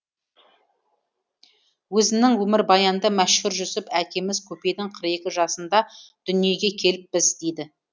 өзінің өмірбаянында мәшһүр жүсіп әкеміз көпейдің қырық екі жасында дүниеге келіппіз дейді